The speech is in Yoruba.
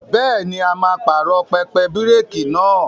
Bẹ́ẹ̀ni, a máa pààrọ̀ pẹpẹ bíréékì náà.